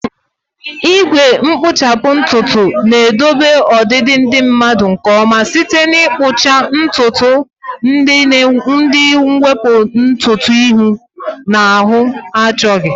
Igwe nkpuchapu ntutu na-edobe ọdịdị dị mma nke ọma site n'ịkpụcha ntutu na iwepu ntutu ihu na ahụ na-achọghị.